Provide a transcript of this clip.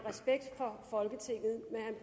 for at